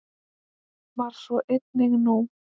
Var svo einnig nú.